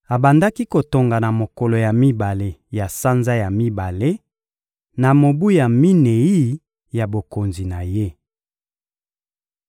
Abandaki kotonga na mokolo ya mibale ya sanza ya mibale, na mobu ya minei ya bokonzi na ye.